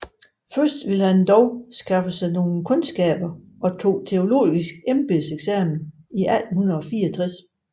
Først vilde han dog skaffe sig nogle Kundskaber og tog teologisk Embedseksamen 1864